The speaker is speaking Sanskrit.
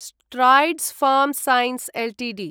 Strides pharma science Ltd